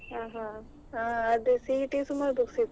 ಹಾ ಹಾ.